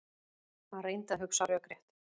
Hann reyndi að hugsa rökrétt.